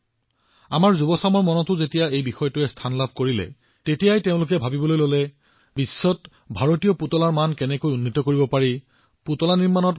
চাওতে চাওতে বিষয়টো যেতিয়া আমাৰ যুৱপ্ৰজন্মৰ দৃষ্টিগোচৰ হল তেওঁলোকে বিশ্বত ভাৰতৰ পুতলাৰ পৰিচয় কিদৰে সাব্যস্ত হব সেই বিষয়েও সিদ্ধান্ত লয়